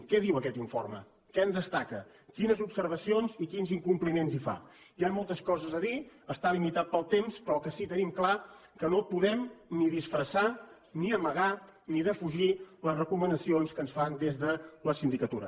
què diu aquest informe què en destaca quines observacions i quins incompliments hi fa hi han moltes coses a dir està limitat pel temps però el que sí que tenim clar que no podem ni disfressar ni amagar ni defugir les recomanacions que ens fan des de la sindicatura